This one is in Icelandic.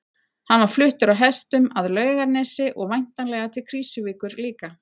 Hann var fluttur á hestum að Laugarnesi og væntanlega til Krýsuvíkur líka.